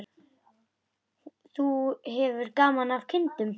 Hefur þú gaman af kindum?